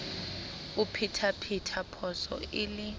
o phethaphetha phoso e le